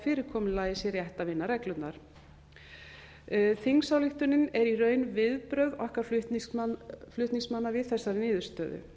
fyrirkomulagi sé rétt að vinna reglurnar þingsályktunin er í raun viðbrögð okkar flutningsmanna við þessari niðurstöðu